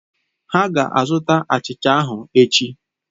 Ha ga-azụta achịcha ahụ echi.